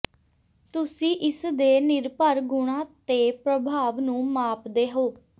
ਤੁਸੀਂ ਇਸ ਦੇ ਨਿਰਭਰ ਗੁਣਾਂ ਤੇ ਪ੍ਰਭਾਵ ਨੂੰ ਮਾਪਦੇ ਹੋ